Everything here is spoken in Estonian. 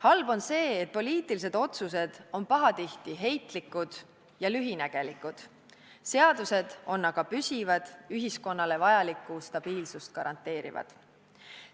Halb on see, et poliitilised otsused on pahatihti heitlikud ja lühinägelikud, seadused on aga püsivad, ühiskonnale vajalikku stabiilsust garanteerivad.